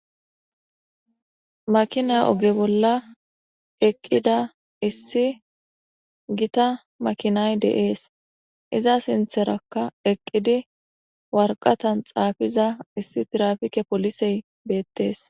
Makina oge bolla eqqida issi gita makinay deees iza sintherakka eqqidi warqatan xaafiza issi tirafike polisey beettees.